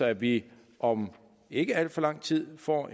at vi om ikke alt for lang tid får